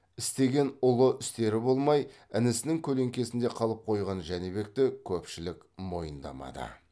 істеген ұлы істері болмай інісінің көлеңкесінде қалып қойған жәнібекті көпшілік мойындамады